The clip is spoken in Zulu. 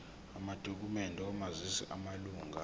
amadokhumende omazisi wamalunga